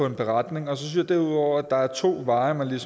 en beretning derudover synes jeg der er to veje man kan